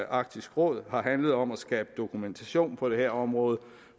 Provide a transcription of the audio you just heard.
arktisk råd har handlet om at skabe dokumentationen på det her område